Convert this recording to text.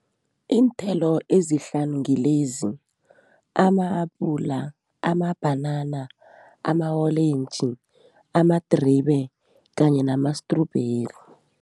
Iinthelo ezihlanu kilezi, ama-apula, amabhanana, ama-olentji amadribe kanye namastrubheri.